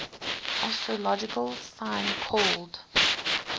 astrological sign called